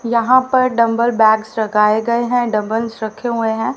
यहां पर dumbbell bags लगाए गए हैं डंबल्स रखे हुए हैं।